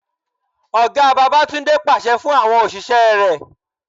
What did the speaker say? Ọ̀gá Babatunde pàṣẹ fún àwọn òṣìṣẹ́ rẹ.